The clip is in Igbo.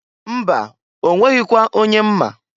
Mba! Onweghikwa onye m ma.